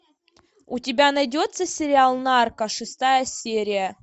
у тебя найдется сериал нарко шестая серия